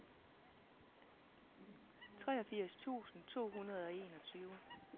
treogfirs tusind to hundrede og enogtyve